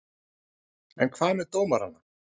En hvað með dómarana?